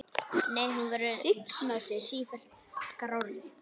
Nei, hún verður sífellt grárri.